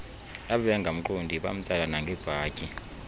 ababengamqondi bamtsala nangebhatyi